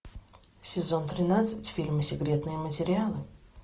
сезон тринадцать фильма секретные материалы